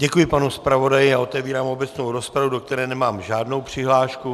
Děkuji panu zpravodaji a otevírám obecnou rozpravu, do které nemám žádnou přihlášku.